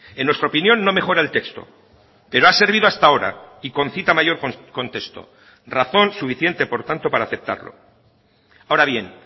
en nuestra opinión no mejora el texto pero ha servido hasta ahora y concita mayor contexto razón suficiente por tanto para aceptarlo ahora bien